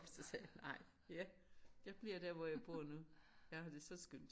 Og så sagde jeg nej jeg jeg bliver der hvor jeg bor nu. Jeg har det så skønt